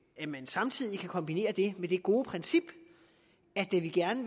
at man samtidig kan kombinere det med det gode princip at vi gerne